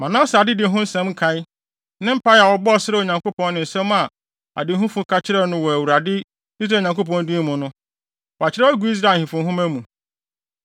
Manase adedi ho nsɛm nkae, ne mpae a ɔbɔɔ srɛɛ Onyankopɔn ne nsɛm a adehufo ka kyerɛɛ no wɔ Awurade, Israel Nyankopɔn din mu no, wɔakyerɛw agu Israel ahemfo nhoma mu.